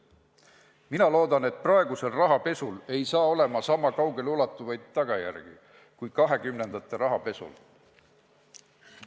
Mina loodan, et praegusel rahapesul ei saa olema sama kaugele ulatuvaid tagajärgi kui 1920-ndate rahapesul.